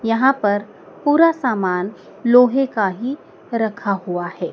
यहां पर पूरा सामान लोहे का ही रखा हुआ है।